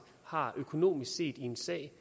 har økonomisk set i en sag